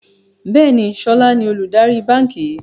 Bẹ́ẹ̀ni, sọlá ni olùdarí báńkì yìí